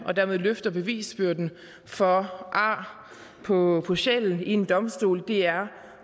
og dermed løfter bevisbyrden for ar på på sjælen ved en domstol det er